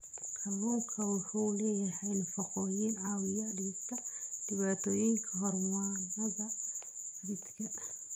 Kalluunku waxa uu leeyahay nafaqooyin caawiya dhimista dhibaatooyinka hormoonnada ee jidhka.